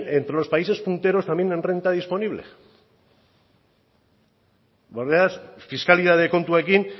entre los países punteros también en renta disponible fiskalitate kontuekin